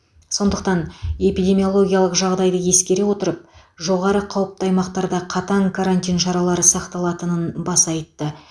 сондықтан эпидемиологиялық жағдайды ескере отырып жоғары қауіпті аймақтарда қатаң карантин шаралары сақталатынын баса айтты